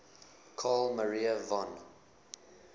carl maria von